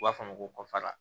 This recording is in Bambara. U b'a fɔ a ma ko kɔfara